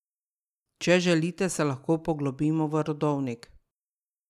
Če želite, se lahko poglobimo v rodovnik.